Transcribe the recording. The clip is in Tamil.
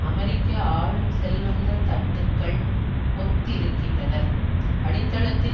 அமெரிக்க ஆளும் செல்வந்த தட்டுக்கள் ஒத்திருக்கின்றனர் அடித்தளத்தில்